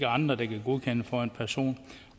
andre der kan godkende for en person